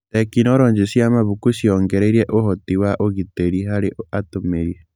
Tekinoronjĩ cia mabuku nĩ ciongereire ũhoti na ũgitĩri harĩ atũmĩri.